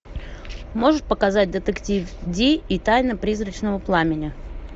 можешь показать детектив ди и тайна призрачного пламени